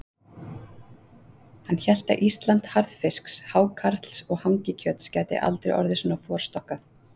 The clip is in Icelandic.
Hann hélt að Ísland harðfisks, hákarls og hangikjöts gæti aldrei orðið svona forstokkað.